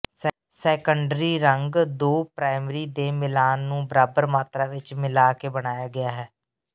secondary ਰੰਗ ਦੋ primary ਦੇ ਮਿਲਾਨ ਨੂੰ ਬਰਾਬਰ ਮਾਤ੍ਰਾ ਵਿਚ ਮਿਲਾ ਕੇ ਬਣਾਇਆ ਗਿਆ ਹੈ